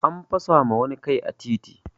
An fasa ma wani kai a titi